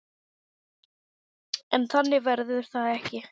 En þannig verður það ekki.